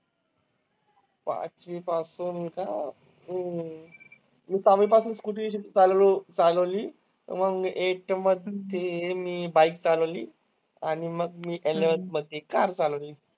पाचवी पासून का? हम्म मी सहावी पासून Scooty शिकत आलेलो, चालवली. मग Eighth मध्ये मी bike चालवली. आणि मग मी Eleventh मध्ये car चालवली.